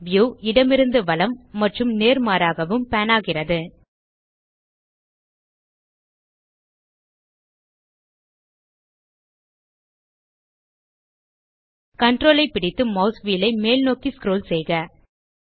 view இடமிருந்து வலம் மற்றும் நேர்மாறாகவும் பான் ஆகிறது Ctrl ஐ பிடித்து மாஸ் வீல் ஐ மேல்நோக்கி ஸ்க்ரோல் செய்க